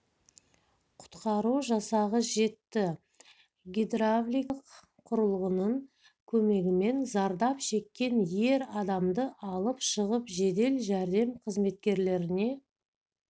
құтқару жасағы жетті гидравликалық құрылғының көмегімен зардап шеккен ер адамды алып шығып жедел жәрдем қызметкерлеріне